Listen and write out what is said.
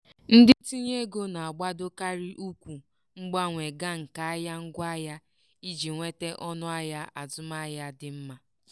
ndị ntinyeego na-agbadokarị ụkwụ mgbanwe ga nke ahịa ngwaahịa iji nweta ọnụahịa azụmahịa dị mma.